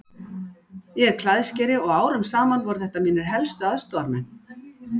Ég er klæðskeri og árum saman voru þetta mínir helstu aðstoðarmenn.